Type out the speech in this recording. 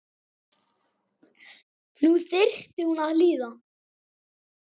Nú þyrfti hún að hlýða.